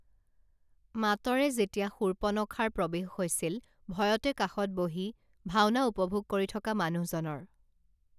মাতৰে যেতিয়া শূপৰ্নখাৰ প্ৰৱেশ হৈছিল ভয়তে কাষত বহি ভাওনা উপভোগ কৰি থকা মানুহজনৰ